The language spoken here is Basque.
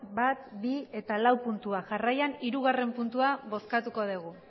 bat bi eta lau puntuak jarraian hirugarren puntua bozkatuko dugu